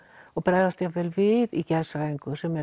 og bregðast jafnvel við í geðshræringu sem